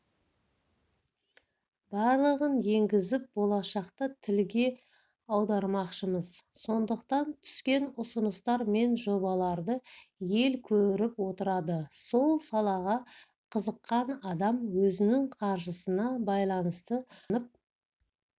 барлығын енгізіп болашақта тілге аудармақшымыз сондықтан түскен ұсыныстар мен жобаларды ел көріп отырады сол салаға қызыққан адам өзінің қаржысына байланысты жұмыстанып